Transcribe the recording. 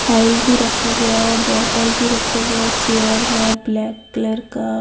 file भी रखा हुआ है बॉटल भी रखा हुआ चेयर है ब्लैक कलर का --